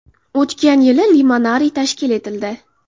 O‘tgan yili limonariy tashkil etildi.